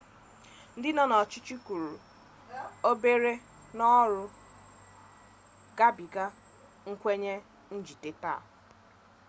ndị nọ n'ọchịchị kwuru obere n'ọrụ gabiga nkwenye njide taa